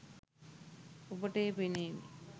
ඔබට එය පෙනේවි